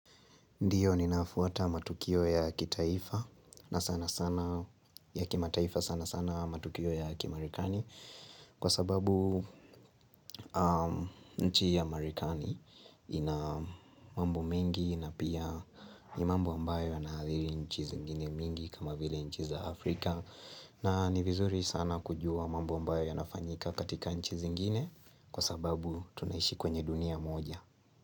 Ndiyo, ninafuata matukio ya kitaifa na sanasana ya kimataifa sanasana matukio ya kimarekani kwa sababu nchi ya marekani ina mambo mengi na pia ni mambo ambayo yanaathiri nchi zingine mingi kama vile nchi za Afrika na ni vizuri sana kujua mambo ambayo yanafanyika katika nchi zingine kwa sababu tunaishi kwenye dunia moja.